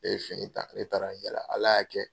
Ne ye fini ta ne taara n yala Ala y'a kɛ